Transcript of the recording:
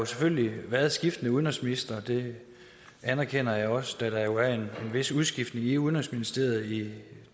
selvfølgelig været skiftende udenrigsministre det anerkender jeg også da der jo er en vis udskiftning i udenrigsministeriet i